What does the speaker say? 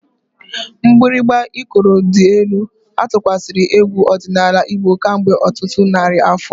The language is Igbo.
Mgbịrịgba Ikoro dị elu atụkwasịla egwu ọdịnala Igbo kemgbe ọtụtụ narị afọ.